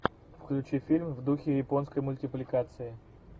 включи фильм в духе японской мультипликации